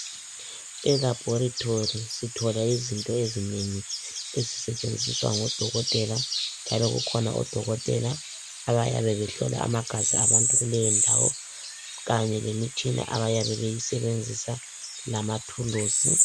Elabhorethi sithola izinto ezinengi ezisetshenziswa ngodokotela njalo kukhona odokotela abayabe behlola amagazi kuleyondawo, kanye lemitshina abayabe beyisebenzisa lamathulusi.